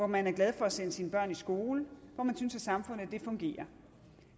man er glad for at sende sine børn i skole og hvor man synes at samfundet fungerer